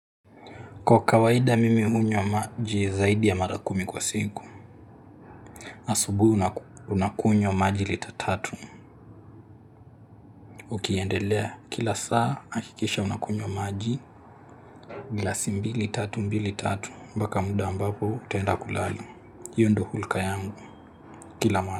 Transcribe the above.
Kwa kawaida mimi hunywa maji zaidi ya mara kumi kwa siku Asubuhi unakunywa maji lita tatu Ukiendelea kila saa hakikisha unakunywa maji glasi mbili, tatu, mbili, tatu Mbaka muda ambapo utaenda kulala hiyo ndo hulka yangu kila mara.